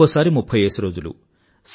ఒకోసారి వారికి ముఫ్ఫైయ్యేసి రోజులు